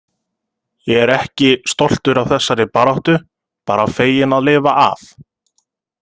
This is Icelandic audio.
Ég er ekki stoltur af þessari baráttu, bara feginn að lifa af.